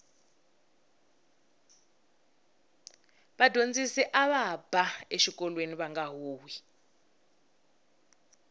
vadyondzisi ava ba exikolweni vanga huhwi